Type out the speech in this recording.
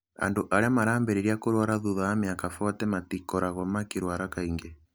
Andũ arĩa marambĩrĩria kũrũara thutha wa mĩaka 40 matikoragwo makĩrũara kaingĩ.